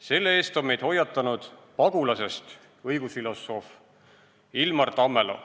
Selle eest on meid hoiatanud pagulasest õigusfilosoof Ilmar Tammelo.